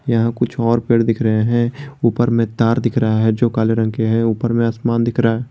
यहां कुछ और पेड़ दिख रहे हैं ऊपर में तार दिख रहा है जो काले रंग के हैं ऊपर में आसमान दिख रहा --